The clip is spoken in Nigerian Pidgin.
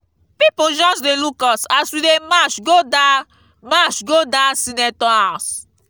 people just dey look us as we dey march go dat march go dat senator house